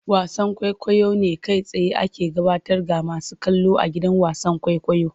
Wasan kwaikwayo ne kai tsaye ake gabatar ga masu kallo a gidan wasan kwaikwayo.